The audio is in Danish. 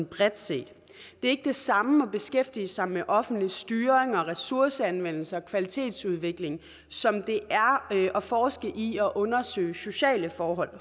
bredt set det er ikke det samme at beskæftige sig med offentlig styring og ressourceanvendelse og kvalitetsudvikling som det er at forske i og undersøge sociale forhold